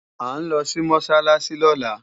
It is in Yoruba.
À ń lọ sí Mọ́sálásí lọ́la